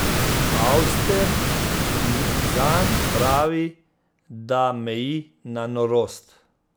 Auster zanj pravi, da meji na norost.